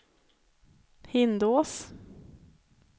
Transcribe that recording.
Hindås